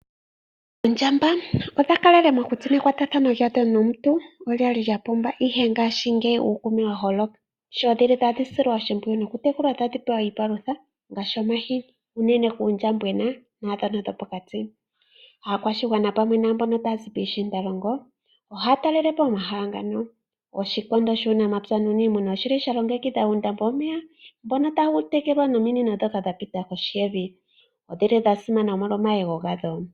Oondjamba odha kalele mokuti mekwatathano lyadho nomuntu olya li lya pumba, ihe ngashingeyi uukuume wa holoka. Sho dhili tadhi silwa oshimpwiyu tekulwa tadhi pewa iipalutha ngaashi omahini, unene kuundjambona naandhono dhopokati. Aakwashigwana pamwe naambono taa zi piishiindalongo ohaa talele po omahala ngano. Oshikondo shUunamapya nUuniimuna oshi li sha longekidha uundambo womeya mbono tawu tekelwa nominino ndhono dha pita kohi yevi. Odhi li dha simana omolwa omayego gadho.